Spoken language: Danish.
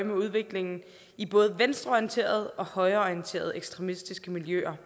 med udviklingen i både venstreorienterede og højreorienterede ekstremistiske miljøer